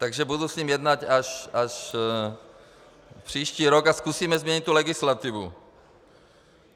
Takže budu s ním jednat až příští rok a zkusíme změnit tu legislativu.